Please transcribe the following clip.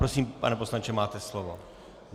Prosím, pane poslanče, máte slovo.